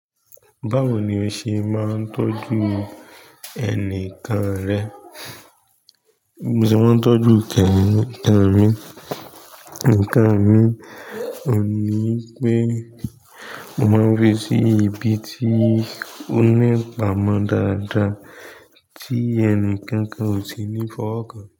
Báwo ni o ṣe máa ń tọ́jú ẹni kan rẹ? Bí mo ṣe máa ń tọ́jú ǹkan mi oun ni wipé mo máa ń fi sí ibi tí ó ní ipàmò dáadáa tí ẹni kankan ò tíì ní fọ́wo ọkàn.